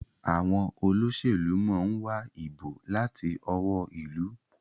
Àwọn Olóṣèlú món wá ìbò láti ọwọ́ ilú.